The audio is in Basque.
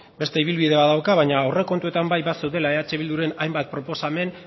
beste ibilbidea badauka baina aurrekontuetan bai bazeudela eh bilduren hainbat proposamen